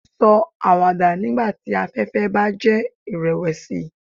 Sọ awada nigbati afẹfẹ ba jẹ irẹwẹsi